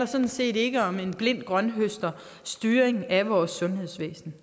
sådan set ikke om en blind grønthøsterstyring af vores sundhedsvæsen